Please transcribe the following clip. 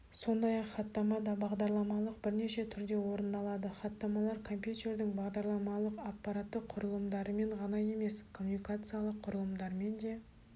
сондай-ақ хаттама да бағдарламалық бірнеше түрде орындалады хаттамалар компьютердің бағдарламалық-аппараттық құрылымдарымен ғана емес коммуникациялық құрылымдармен де